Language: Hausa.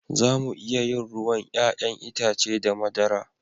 Za mu iya yin ruwan 'ya'yan itace da madara